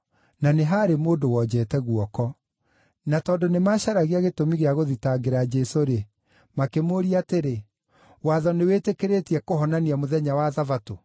na nĩ haarĩ mũndũ wonjete guoko. Na tondũ nĩmacaragia gĩtũmi gĩa gũthitangĩra Jesũ-rĩ, makĩmũũria atĩrĩ, “Watho nĩwĩtĩkĩrĩtie kũhonania mũthenya wa Thabatũ?”